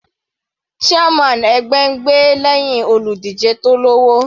Chairman ẹgbẹ́ ń gbè lẹ́hìn olùdíje tó lọ́wọ́.